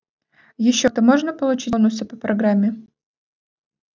ещё там можно получить бонусы по программе